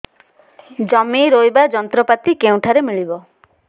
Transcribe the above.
ଜମି ରୋଇବା ଯନ୍ତ୍ରପାତି କେଉଁଠାରୁ ମିଳିବ